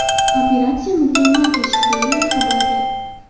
Operatsiya mukammal kechdi”, deyiladi xabarda.